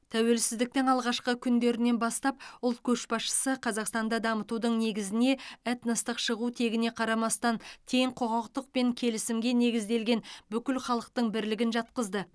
тәуелсіздіктің алғашқы күндерінен бастап ұлт көшбасшысы қазақстанды дамытудың негізіне этностық шығу тегіне қарамастан тең құқықтық пен келісімге негізделген бүкіл халықтың бірлігін жатқызды